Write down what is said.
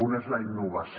un és la innovació